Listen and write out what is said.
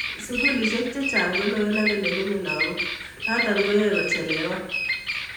sukulisiek chechang koloen ak lemenyei lakok notok koyaei kochelewan